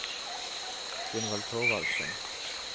Gunvald Thorvaldsen